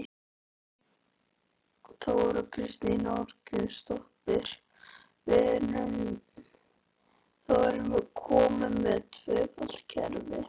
Þóra Kristín Ásgeirsdóttir: Þá erum við komin með tvöfalt kerfi?